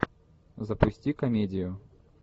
запусти комедию